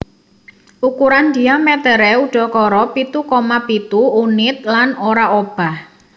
Ukuran diamèteré udakara pitu koma pitu unit lan ora obah